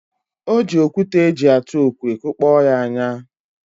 Ọ ji okwute eji atụ okwe kụkpọ ya anya.